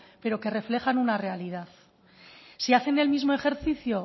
pero que reflejan una realidad si hacen el mismo ejercicio